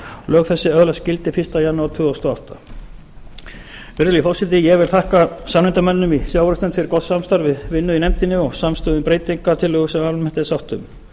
lög þessi öðlast gildi fyrsta janúar tvö þúsund og átta virðulegi forseti ég vil þakka samnefndarmönnum í sjávarútvegsnefnd fyrir gott samstarf við vinnu í nefndinni og samstöðu um breytingartillögu sem almennt er sátt um